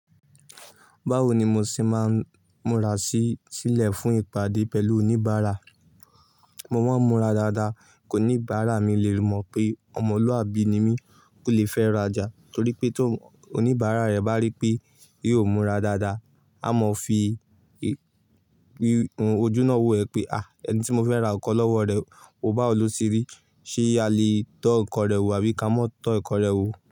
Báwo ni mo ṣe máa ń múra sílẹ̀ fún ìpàdé pẹ̀lú oníbàárà? Mo máa ń múra dáadáa, kò ní ìbára mi lè mọ̀ pé ọmọlúàbí ni mí kò lè fẹ́ra já torí pé tó oníbàárà rẹ̀ bá rí pé yóò múra dáadáa, a mọ fi ojú náà wò ẹ pé "à ẹni tí mo fẹ́ ra nǹkan lọ́wọ́ rẹ, o bawo lo se rí, ṣé a lè tọ́ nǹkan rẹ wò àbí ká mọ́ tọ́ nǹkan rẹ wò?